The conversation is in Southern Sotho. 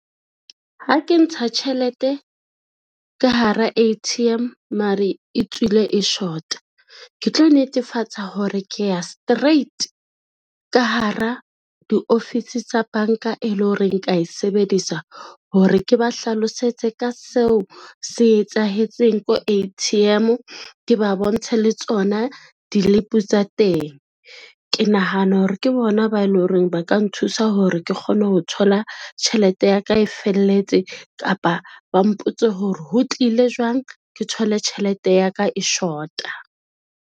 Ha ke ntsha tjhelete ka hara A_T_M mare e tswile e shota, ke tlo netefatsa hore ke ya straight ka hara diofisi tsa banka e lo reng ka e sebedisa hore ke ba hlalosetse ka seo se etsahetseng ko A_T_M, ke ba bontshe le tsona dilipi tsa teng. Ke nahana hore ke bona ba e lo reng ba ka nthusa hore ke kgone ho thola tjhelete ya ka e felletse kapa ba mpotse hore ho tlile jwang ke thole tjhelete ya ka e short-a.